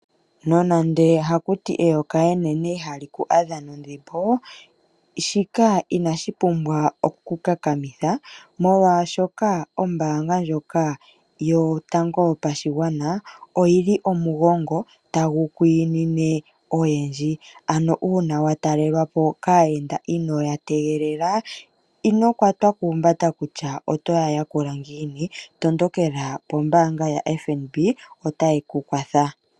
Nonando haku ti eyoka enene ihali ku adha nondhimbo, shika inashi pumbwa oku ku kakamitha, molwashoka ombaanga ndjoka yotango yopashigwana oyi li omugongo tagu kwiinine oyendji. Uuna wa talelwa po kaayenda inoo ya tegelela ino kwatwa kuumbanda kutya oto ya yakula ngiini, tondokela pombaanga yaFNB otayi ku kwatha.